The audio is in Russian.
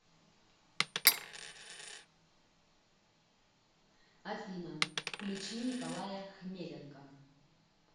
афина включи николая хмеленка